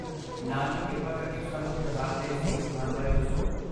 ਨਾਲ ਹੀ, ਕਿਰਪਾ ਕਰਕੇ ਸਾਨੂੰ ਤਿਉਹਾਰ ਦੇ ਸਹੀ ਸਥਾਨ ਬਾਰੇ ਦੱਸੋ।